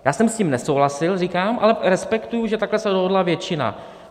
Já jsem s tím nesouhlasil, říkám, ale respektuji, že takhle se rozhodla většina.